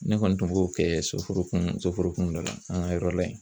Ne kɔni tun b'o kɛ soforokun soforokun dɔ la an ka yɔrɔ la ye.